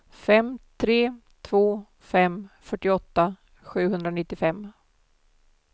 fem tre två fem fyrtioåtta sjuhundranittiofem